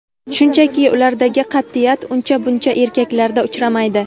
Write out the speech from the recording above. shunchaki ulardagi qatʼiyat uncha buncha erkaklarda uchramaydi.